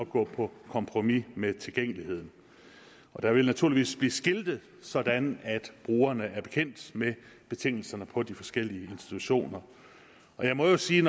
gå på kompromis med tilgængeligheden der vil naturligvis blive skiltet sådan at brugerne er bekendt med betingelserne på de forskellige institutioner jeg må sige